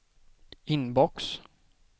inbox